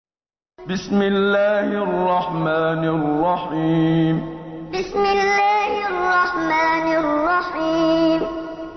بِسْمِ اللَّهِ الرَّحْمَٰنِ الرَّحِيمِ بِسْمِ اللَّهِ الرَّحْمَٰنِ الرَّحِيمِ